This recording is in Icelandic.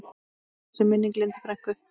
Blessuð sé minning Lindu frænku.